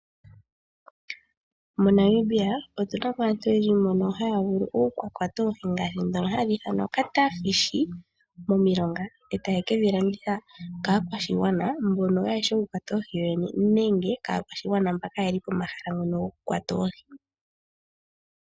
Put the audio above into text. MoNamibia otu na mo aantu oyendji mbono haya vulu oku ka kwata oohi ndhoka hadhi ithanwa kutya oohi dhefundja momilonga e taye ke dhi landitha kaakwashigwana mbono kaaye shi okukwata oohi yoyene nenge kaakwashigwana mbono kaye li pomahala ngono gokukwata oohi.